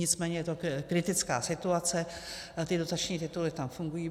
Nicméně je to kritická situace, ty dotační tituly tam fungují.